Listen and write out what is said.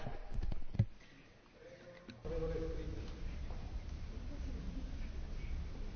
Pani kolegyňa, podľa vás je teda 5 minút dosť na to, aby ste unikli pred raketou, ktorá príde z ničoho nič?